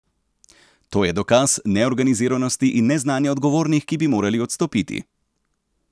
To je dokaz neorganiziranosti in neznanja odgovornih, ki bi morali odstopiti.